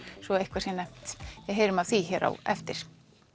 svo eitthvað sé nefnt við heyrum af því hér á eftir